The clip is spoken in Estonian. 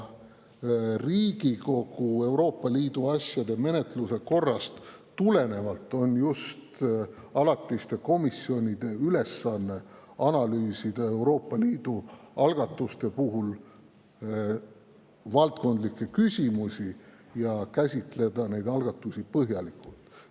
Riigikogu Euroopa Liidu asjade menetluse korrast tulenevalt on just alatiste komisjonide ülesanne analüüsida Euroopa Liidu algatuste puhul valdkondlikke küsimusi ning käsitleda neid algatusi üksikasjalikult.